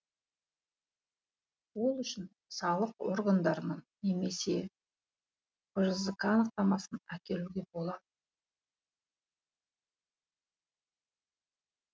ол үшін салық органдарының немесе бжзқ анықтамасын әкелуге болады